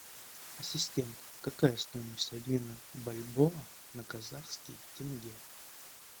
ассистент какая стоимость обмена бальбоа на казахский тенге